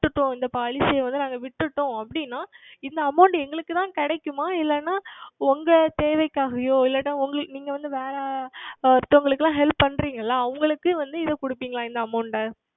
விட்டுட்டோம் இந்த Policy யை வந்து நாங்கள் விட்டுட்டோம் அப்படி என்றால் இந்த Amount எங்களுக்கு தான் கிடைக்குமா இல்லை என்றால் உங்கள் தேவைக்காகவோ இல்லை என்றால் நீங்கள் வந்து வேறு அடுத்தவர்களுக்கு எல்லாம் Help செய்கிறீர்கள் அல்லவா அவர்களுக்கு வந்து இந்த தருவீர்களா இந்த Amount